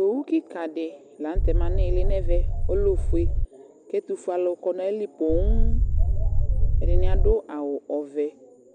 Owu kɩka dɩ la nʋ tɛ ma nʋ ɩɩlɩ nʋ ɛvɛ Ɔlɛ ofue kʋ ɛtʋfuealʋ kɔ nʋ ayili poo, ɛdɩnɩ adʋ awʋ ɔvɛ